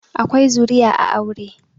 akwai zuriya a aure